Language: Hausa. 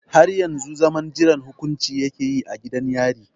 Har yau zaman jiran hukunci ya ke a gidan yari.